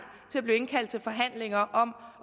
til at blive indkaldt til forhandlinger om